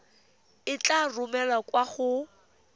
e tla romelwa kwa go